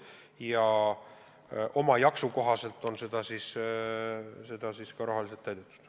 Ja oma jaksu kohaselt oleme neid rahaliselt ka täitnud.